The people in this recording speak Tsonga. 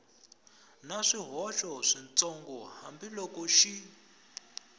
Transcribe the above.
na swihoxo switsongo hambiloko xi